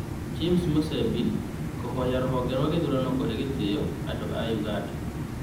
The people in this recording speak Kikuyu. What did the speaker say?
Boniface Musembi kũhoya rũhonge rwa gĩthurano kuhe gĩtĩo andũ a Uganda